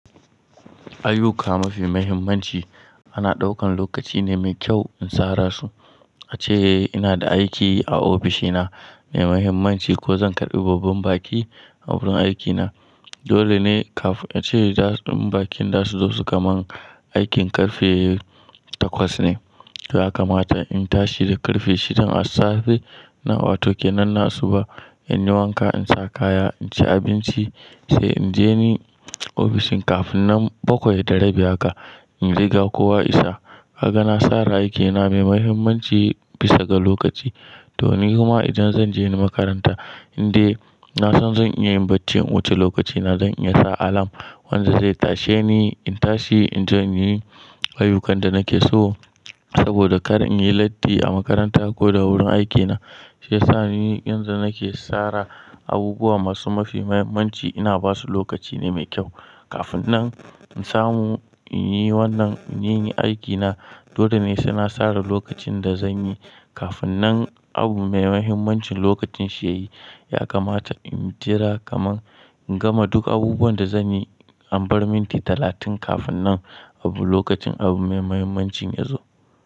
Aiyuka mafi muhimmanci ana ɗaukan lokaci ne mai kyau in sara su. Ace ina da aiki a ofishina mai muhimmanci ko zan karɓi babban baki a wurin aikina. Dole ne kafin ace da bakin za su zo su kaman aikin karfe takwas ne. Ya kamata in tashi da karfe shidan assafe. Na wato kenan na asu ba in yi wanka, in sa kaya, in ci abinci sai in je ni ofishin kafin nan bakwai da rabi haka in riga kowa isa. Yana sara aikina mai mahimmanci bisa ga lokaci. To ni kuma idan zan je ni makaranta, in dai na san zan iya yin bacci in wuce lokacina zan iya sa alam wanda zai tashe ni. In tashi in zan yi ayyukan da nake so saboda kara in yi latti a makaranta ko da wurin aikina. Sai sa ni in zan nake sara abubuwa masu mafi muhimmanci ina basu lokaci ne mai kyau. Kafin nan in samu in yi wannan, in yi aiki na. Dole ne suna sara lokacin da zan yi kafin nan abu mai mahimmancin lokacin shi ya yi. Ya kamata in jira kaman in gama duk abubuwan da zanyi an bar minti talatin kafin nan abu lokacin abu mai mahimmancin ya zo.